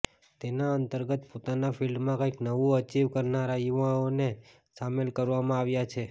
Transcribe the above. તેના અંતર્ગત પોતાના ફિલ્ડમાં કંઈક નવું અચિવ કરનારા યુવાઓને સામેલ કરવામાં આવ્યા છે